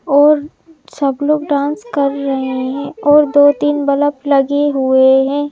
और सब लोग डांस कर रहे हैं और दो-तीन बल्ब लगे हुए हैं।